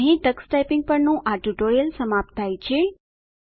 અહીં Tux typing પરનું આ ટ્યુટોરીયલ સમાપ્ત થાય છે